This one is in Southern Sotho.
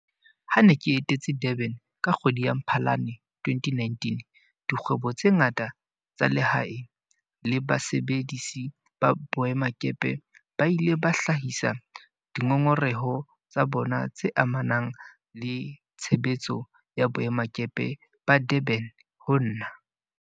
Ha ke ne ke etetse Durban ka kgwedi ya Mphalane 2019, dikgwebo tse ngata tsa lehae le basebedisi ba boemakepe ba ile ba hlahisa dingongoreho tsa bona tse amanang le tshebetso ya boemakepe ba Durban ho nna.